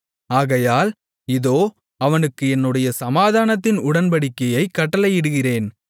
ஆகையால் இதோ அவனுக்கு என்னுடைய சமாதானத்தின் உடன்படிக்கையைக் கட்டளையிடுகிறேன்